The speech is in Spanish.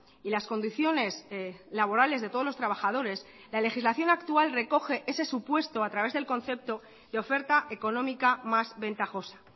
y las condiciones laborales de todos los trabajadores la legislación actual recoge ese supuesto a través del concepto de oferta económica más ventajosa